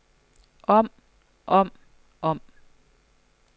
om om om